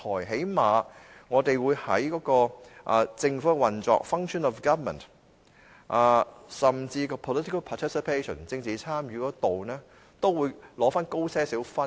起碼我們會在政府運作，甚至政治參與方面都會取得較高分數。